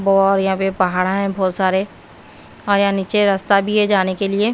और यहां पे पहाड़ है बहुत सारे और यहां नीचे रास्ता भी है जाने के लिए।